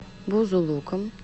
бузулуком